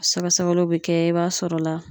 Sɛgɛsɛgɛliw bi kɛ i b'a sɔrɔ la